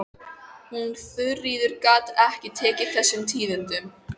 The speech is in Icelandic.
Hún Þuríður gat ekki tekið þessum tíðindum.